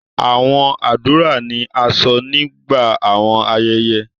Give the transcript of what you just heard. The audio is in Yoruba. Awọn adura ni a sọ nigba awọn ayẹyẹ